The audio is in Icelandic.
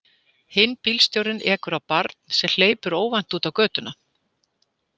Hinn bílstjórinn ekur á barn sem hleypur óvænt út á götuna.